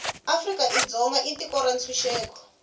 afrika dzonga i tiko ra ntshuxeko